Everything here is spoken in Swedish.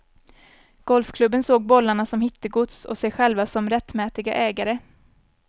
Golfklubben såg bollarna som hittegods och sig själva som rättmätiga ägare.